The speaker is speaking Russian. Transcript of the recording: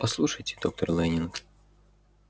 послушайте доктор лэннинг